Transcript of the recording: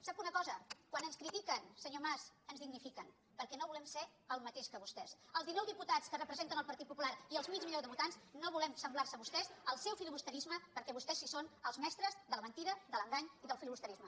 sap una cosa quan ens critiquen senyor mas ens dignifiquen perquè no volem ser el mateix que vostès els dinou diputats que representen el partit popular i el mig milió de votants no volem semblar nos a vostès al seu filibusterisme perquè vostès sí que són els mestres de la mentida de l’engany i del filibusterisme